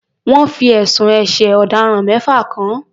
Wọ́n fi ẹ̀sùn ẹ̀ṣẹ̀ ọ̀daràn mẹ́fà kàn án.